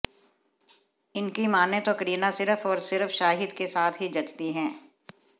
इनकी मानें तो करीना सिर्फ और सिर्फ शाहिद के साथ ही जचती हैं